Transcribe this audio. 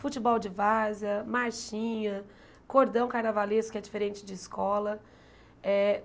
Futebol de várzea, marchinha, cordão carnavalesco, que é diferente de escola eh.